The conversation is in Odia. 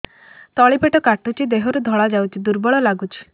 ତଳି ପେଟ କାଟୁଚି ଦେହରୁ ଧଳା ଯାଉଛି ଦୁର୍ବଳ ଲାଗୁଛି